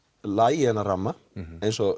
lagi þennan ramma eins og